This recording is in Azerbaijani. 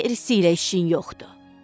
Gerisi ilə işin yoxdur.